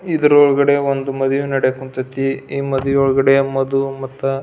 ಇದರೊಳಗೆ ಒಂದು ಮದುವೆ ನಡೆಕೊಂತತಿ ಈ ಮದ್ವೆ ಒಳಗೆ ಮದು ಮತ್ತೆ.